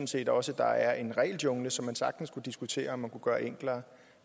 set også at der er en regeljungle som man sagtens kunne diskutere om man kunne gøre enklere